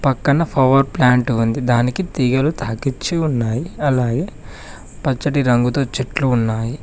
పక్కన power plant ఉంది దానికి తీగలు తాకించి ఉన్నాయి అలాగే పచ్చటి రంగుతో చెట్లు ఉన్నాయి.